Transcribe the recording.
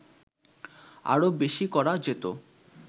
আরো বেশী করা যেতো